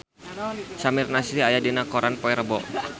Samir Nasri aya dina koran poe Rebo